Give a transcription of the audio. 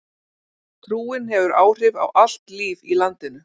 Trúin hefur áhrif á allt líf í landinu.